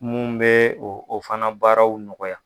Mun be o o fana baaraw nɔgɔya